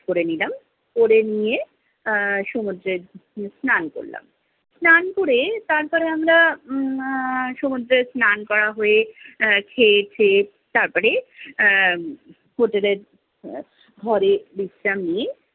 আহ সমুদ্রে স্নান করলাম। স্নান করে তারপর আমরা, আহ সমুদ্রে স্নান করা হয়ে আহ খেয়ে, খেয়ে, তারপরে আহ হোটেলের ঘরে বিশ্রাম নিই।